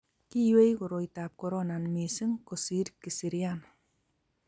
kikiywei koroitab korona mising' kosir kisirian